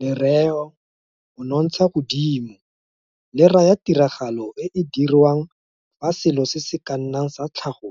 Lereo monontshagodimo le raya tiragalo e e dirwang fa selo se se ka nnang sa tlhago